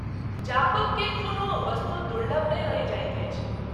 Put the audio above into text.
जापक के कोनो वस्तु दुर्लभ नहिं रहि जाइत अछि।